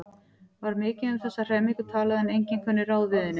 Var mikið um þessa hremmingu talað en enginn kunni ráð við henni.